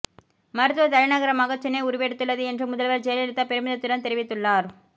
மருத்துவ தலைநகரமாக சென்னை உருவெடுத்துள்ளது என்று முதல்வர் ஜெயலலிதா பெருமிதத்துடன் தெரிவித்துள்ளார்